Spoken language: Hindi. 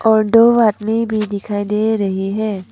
और दो आदमी भी दिखाई दे रहे है।